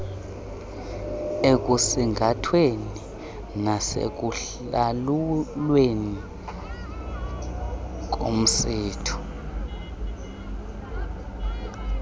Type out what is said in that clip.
ekusingathweni nasekulawulweni komsitho